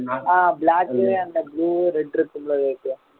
ஆஹ் black அந்த blue red இருக்கும்ல